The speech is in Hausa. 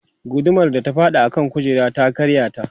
gudumar ta faɗi a kan kujerar ta karya ta